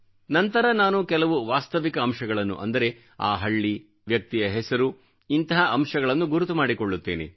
ನಂತರ ನಾನು ಕೆಲವು ವಾಸ್ತವಿಕ ಅಂಶಗಳನ್ನು ಅಂದರೆ ಆ ಹಳ್ಳಿ ವ್ಯಕ್ತಿಯ ಹೆಸರು ಇಂತಹ ಅಂಶಗಳನ್ನು ಗುರುತುಮಾಡಿಕೊಳ್ಳುತ್ತೇನೆ